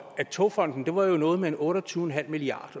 at togfonden dk var noget med otte og tyve milliard